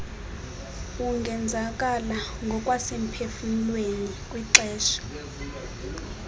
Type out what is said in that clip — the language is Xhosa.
ungenzakala ngokwasemphefumlweni kwixesha